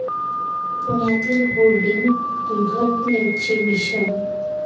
पुण्यातील होर्डिंग दुर्घटनेचे भीषण